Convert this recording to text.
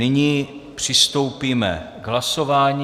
Nyní přistoupíme k hlasování.